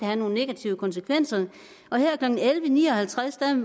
have nogle negative konsekvenser her klokken elleve ni og halvtreds